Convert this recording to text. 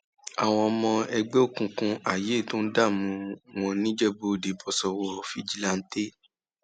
àwọn ọmọ ẹgbẹ òkùnkùn ayé tó ń dààmú wọn nìjẹbúòde bọ sọwọ fìjìláńtẹ